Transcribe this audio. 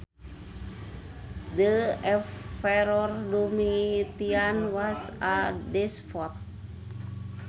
The Emperor Domitian was a despot